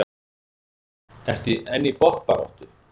En í botnbaráttu?